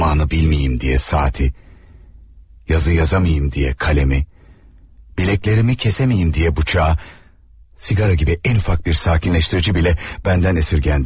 Zamanı bilmeyeyim diye saati, yazı yazamayım diye kalemi, bileklerimi kesemeyim diye bıçağı, sigara gibi en ufak bir sakinleştirici bile benden esirgendi.